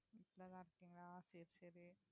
வீட்டுலதான் இருக்கீங்களா சரி சரி